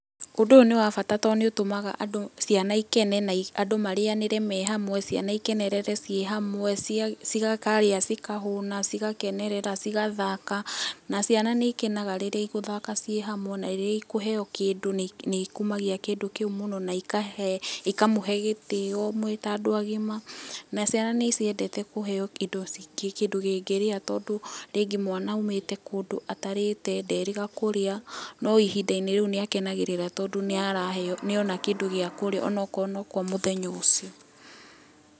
Ũndũ ũyũ nĩ wa bata tondũ nĩ ũtũmaga andũ ciana ikene andũ marĩanĩre me hamwe, ciana ikenerere ci hamwe cikarĩa cikahuna, cigakenerera , cithagathaka na ciana nĩ ikenaga rĩrĩa cigũthaka ci hamwe na rĩrĩa ikũheo kĩndũ nĩikũma ikũmagia kĩndũ kĩũ mũno na ikahe ikamũhe gĩtĩo mwĩta andũ agima na ciana nĩ ciendete kũheo indo ci kĩndũ kĩngĩria tondũ rĩngĩ mwana aũmĩte kũndũ atarĩte, nderĩga kũrĩa, no ihindari rĩũ nĩ akenagĩrira tondũ nĩ araheo, nĩ ona kindũ gĩa kũrĩa ona akorwo nĩkwa mũthenya ũcio.